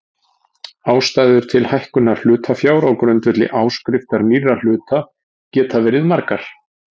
Ástæður til hækkunar hlutafjár á grundvelli áskriftar nýrra hluta geta verið margar.